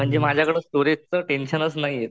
म्हणजे माझ्याकडे स्टोरेज च टेन्शनच नाहीये